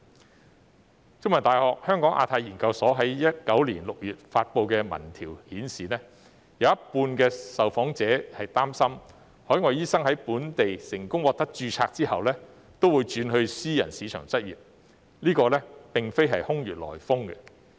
香港中文大學香港亞太研究所在2019年6月發布的民調顯示，有一半受訪者擔心海外醫生在本地成功獲得註冊後，均會轉到私人市場執業，這並非空穴來風。